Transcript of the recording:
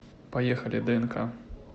поехали днк